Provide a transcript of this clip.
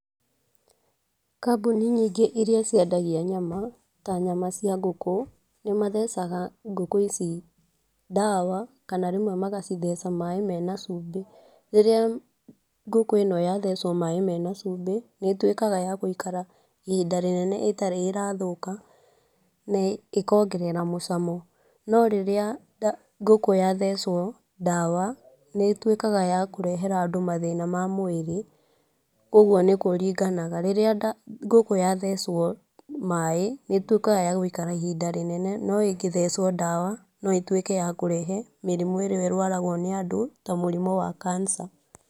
Kambuni nyingĩ iria ciendagia nyama ta nyama cia ngũkũ, nĩmathecaga ngũkũ ici ndawa, kana rĩmwe magacitheca maĩ mena cumbĩ. Rĩrĩa ngũkũ ĩno yathecwo maĩ mena cumbĩ, nĩ ĩtuĩkaga ya gũikara ihinda rĩnene ĩtarĩ ĩrathũka na ĩkongerera mũcamo. No rĩrĩa ngũkũ yathecwo ndawa, nĩ ĩtuĩkaga ya kũrehera andũ mathĩna ma mwĩrĩ, koguo nĩ kũringanaga, rĩrĩa ngũkũ yathecwo maĩ, nĩ ĩtuĩkaga ya gũikara ihinda rĩnene no ĩngĩthecwo ndawa, no ĩtuĩke ya kũrehe mĩrimũ ĩrĩa ĩrwaragwo nĩ andũ ta mũrimũ wa cancer.